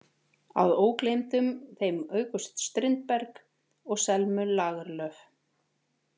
Að ógleymdum þeim August Strindberg og Selmu Lagerlöf.